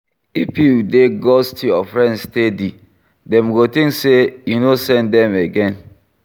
If you dey ghost your friend steady, dem go think sey you no send them again